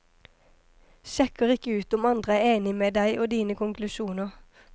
Sjekker ikke ut om andre er enig med deg og dine konklusjoner.